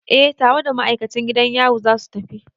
Eh tare da ma'aikacin gidan yari za su tafi.